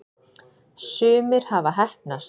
sumir hafa heppnast